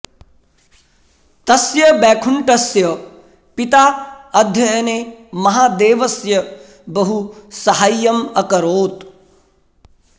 तस्य वैकुण्ठस्य पिता अध्ययने महादेवस्य बहु साहाय्यम् अकरोत्